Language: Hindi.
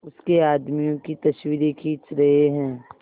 उसके आदमियों की तस्वीरें खींच रहे हैं